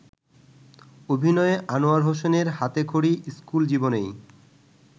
অভিনয়ে আনোয়ার হোসেনের হাতেখড়ি স্কুল জীবনেই।